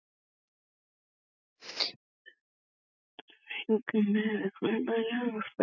Sigurður: Hvað ætlið þið að vera lengi hérna?